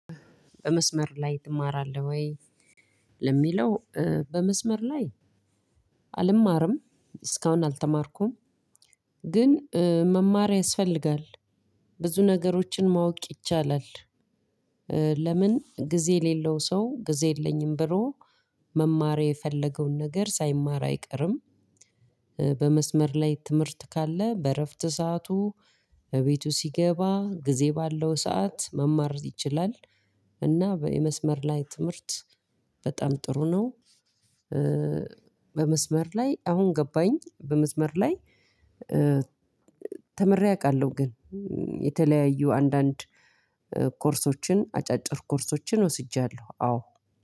በመስመር ላይ ማራለህ ወይ? ለማለው በመስመር ላይ አልማርም እስከ አሁን አልተማርኩም። ግን መማር ያስፈልጋል። ቡዙ ነገሮችን ማወቅ ይቻላል። ለምን ጊዜ የሌለው ሰው ጊዜ የለኝም ብሎ መማር የፈለገውን ነገር ሳይማር አይቀርም። በመስመር ላይ ትምህርት ካለ በእረፍት ሰዓቱ እቤቱ ሲገባ ጊዜ ባለው ሰዓት መማር ይችላል። እና የመስመር ላይ ትምህርት በጣም ጥሩ ነው። በመስመር ላይ አሁን ገባኝ በመስመር ላይ። ተመሬ አውቃለሁ ግን የተለያዩ አንዳንድ ኮርሶችን አጫጭር ኮርሶችን ወስጃለሁ አዎ።